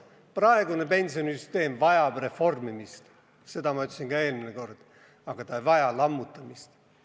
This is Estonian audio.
Praegune pensionisüsteem vajab reformimist, seda ma ütlesin ka eelmine kord, aga ta ei vaja lammutamist.